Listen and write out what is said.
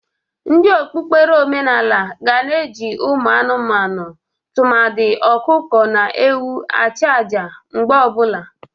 Ndị okpukpere omenala ga na-eji ụmụ anụmanụ tụmadị ọkụkọ na ewu ajụ aja mgbe ọ bụla.